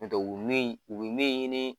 Ɲɔntɛ u min u be min ɲini